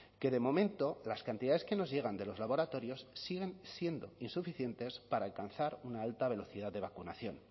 que de momento las cantidades que nos llegan de los laboratorios siguen siendo insuficientes para alcanzar una alta velocidad de vacunación